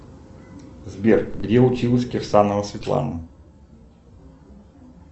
сбер где училась кирсанова светлана